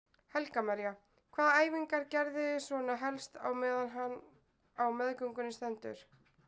Helga María: Hvaða æfingar geriði svona helst á meðan á meðgöngunni stendur?